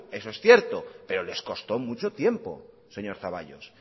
eso es cierto pero les costo mucho tiempo señor zaballos